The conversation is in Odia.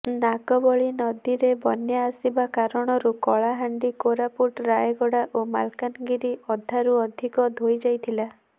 ନାଗାବଳି ନଦୀରେ ବନ୍ୟା ଆସିବା କାରଣରୁ କଳାହାଣ୍ଡି କୋରାପୁଟ ରାୟଗଡା ଓ ମାଲକାନଗିରି ଅଧାରୁ ଅଧିକ ଧୋଇ ଯାଇଥିଲା